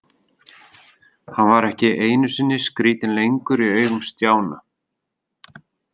Hann var ekki einu sinni skrítinn lengur í augum Stjána.